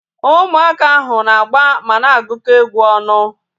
Ụmụaka ahu na-agba mana agukọ egwu ọnụ